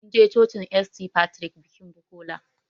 Mun je cocin St.Patrick bikin Bukola